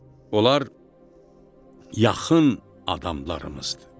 Onlar yaxın adamlarımızdır.